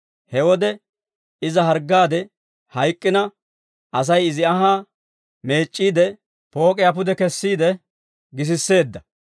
He wode iza harggaade hayk'k'ina, Asay izi anhaa meec'c'iide, poo'iyaa pude kessiide gisisseedda.